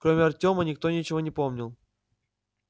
кроме артёма никто ничего не помнил